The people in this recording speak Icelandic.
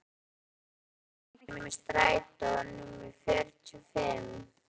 Binni, hvenær kemur strætó númer fjörutíu og fimm?